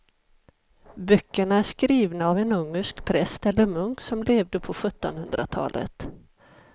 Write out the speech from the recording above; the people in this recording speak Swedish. Böckerna är skrivna av en ungersk präst eller munk som levde på sjuttonhundratalet.